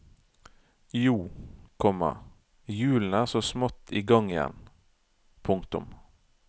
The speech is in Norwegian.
Jo, komma hjulene er så smått i gang igjen. punktum